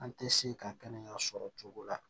An tɛ se ka kɛnɛya sɔrɔ cogo la